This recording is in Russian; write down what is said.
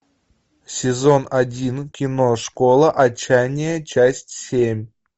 сезон один кино школа отчаяние часть семь